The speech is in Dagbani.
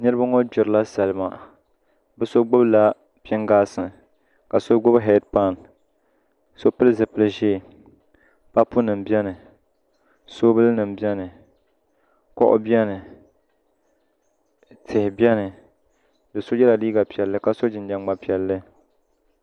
Niraba ŋo gbirila salima bi so gbubila pingaasi ka so gbubi heed pan so pili zipili ʒiɛ kapu nim biɛni soobuli nim biɛni kuɣu biɛni tihi biɛni do so yɛla liiga piɛlli ka so jinjɛm ŋma piɛlli